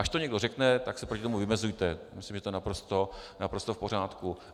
Až to někdo řekne, tak se proti tomu vymezujte, myslím, že to je naprosto v pořádku.